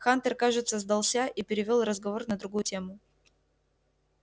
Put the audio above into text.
хантер кажется сдался и перевёл разговор на другую тему